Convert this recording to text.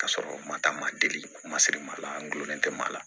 K'a sɔrɔ n ma taa ma deli ma sirima la n gulonnen tɛ maa la